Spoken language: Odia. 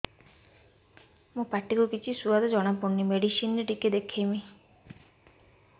ମୋ ପାଟି କୁ କିଛି ସୁଆଦ ଜଣାପଡ଼ୁନି ମେଡିସିନ ରେ ଟିକେ ଦେଖେଇମି